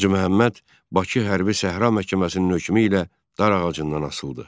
Hacı Məhəmməd Bakı Hərbi Səhra məhkəməsinin hökmü ilə dar ağacından asıldı.